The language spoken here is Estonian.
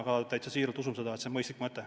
Ma täitsa siiralt usun, et see on mõistlik mõte.